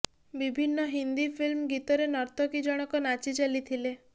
ବିଭିନ୍ନ ହିନ୍ଦୀ ଫିଲ୍ମ ଗୀତରେ ନର୍ତ୍ତକୀ ଜଣକ ନାଚି ଚାଲିଥିଲେ